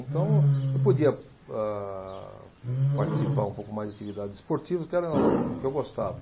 Então, eu podia âh participar um pouco mais de atividades esportivas, que era o que eu gostava.